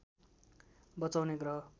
बचाउने ग्रह